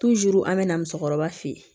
an bɛ na musokɔrɔba fe yen